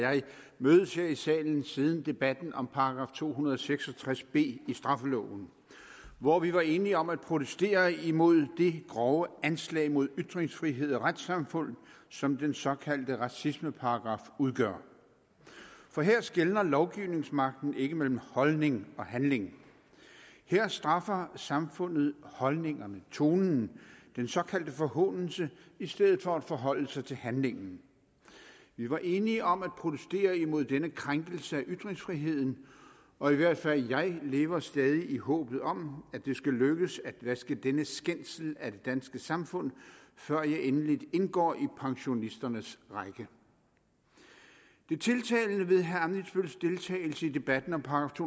jeg mødes her i salen siden debatten om § to hundrede og seks og tres b i straffeloven hvor vi var enige om at protestere imod det grove anslag mod ytringsfrihed og retssamfund som den såkaldte racismeparagraf udgør for her skelner lovgivningsmagten ikke mellem holdning og handling her straffer samfundet holdningerne tonen den såkaldte forhånelse i stedet for at forholde sig til handlingen vi var enige om at protestere imod denne krænkelse af ytringsfriheden og i hvert fald jeg lever stadig i håbet om at det skal lykkes at vaske denne skændsel af det danske samfund før jeg endeligt indgår i pensionisternes række det tiltalende ved herre ammitzbølls deltagelse i debatten om §